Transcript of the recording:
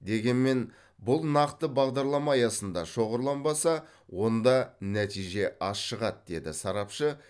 дегенмен бұл нақты бағдарлама аясында шоғырланбаса онда нәтиже аз шығады деді сарапшы